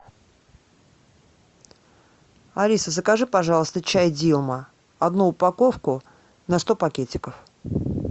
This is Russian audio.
алиса закажи пожалуйста чай дилма одну упаковку на сто пакетиков